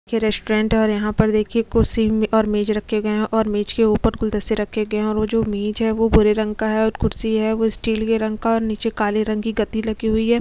ये रेस्टोरेंट है और यहाँ पर देखिये कुर्सी और मेज रखे गए है और मेज के ऊपर गुलदस्ते रखे गए है और जो मेज है वो भूरे रंग का है और कुसी है वो स्टील रंग का है और निचे काले रंग की गदी लगी हुई है।